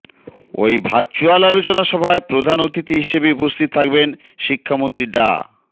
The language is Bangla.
ওই ভার্চ্যুয়াল আলোচনা সভায় প্রধান অতিথি হিসেবে উপস্থিত থাকবেন শিক্ষামন্ত্রী ডা